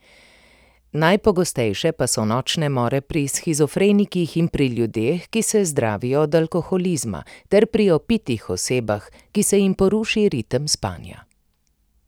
Najpogostejše pa so nočne more pri shizofrenikih in pri ljudeh, ki se zdravijo od alkoholizma, ter pri opitih osebah, ki se jim poruši ritem spanja.